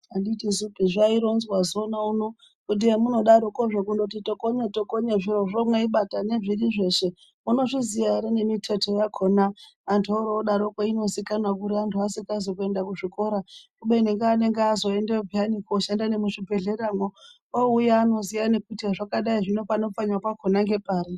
Anditisu zvaironzwa zona uno kuti hemunodarokozvo kundoti tokonye tokonye zvirozvo mweibata nezvirizveshe munozviziya ere nemiteto yakona antu orodaroko inozikanwa kuri antu asikazi kuenda kuzvikora kubeni ngeanenge azoendeyo peyani kushanda nemuzvibhedhleramo ouya anoziya nekuti hezvakadai zvino pano pfanywa pakona ngepari.